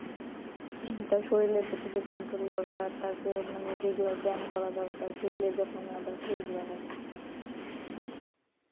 হম তারপর শরীরের প্রতি control যে দরকার তার যে মানে regular ব্যায়াম করা দরকার শরীরের যত্ন নেওয়া দরকার এগুলো নেই